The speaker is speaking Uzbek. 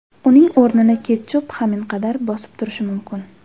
Uning o‘rnini ketchup haminqadar bosib turishi mumkin.